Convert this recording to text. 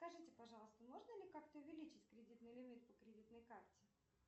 скажите пожалуйста можно ли как то увеличить кредитный лимит по кредитной карте